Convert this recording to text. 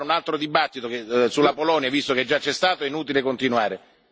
Se dobbiamo fare un altro dibattito sulla Polonia, visto che già c'è stato, è inutile continuare.